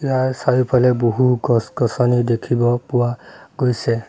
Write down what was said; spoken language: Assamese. ইয়াৰ চাৰিওফালে বহু গছ-গছনি দেখিব পোৱা গৈছে।